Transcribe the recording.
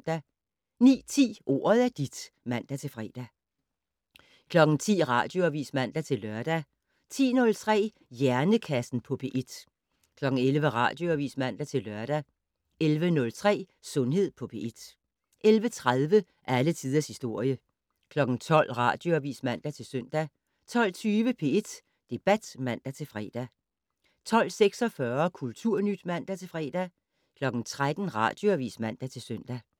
09:10: Ordet er dit (man-fre) 10:00: Radioavis (man-lør) 10:03: Hjernekassen på P1 11:00: Radioavis (man-lør) 11:03: Sundhed på P1 11:30: Alle tiders historie 12:00: Radioavis (man-søn) 12:20: P1 Debat (man-fre) 12:46: Kulturnyt (man-fre) 13:00: Radioavis (man-søn)